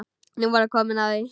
Nú var komið að því.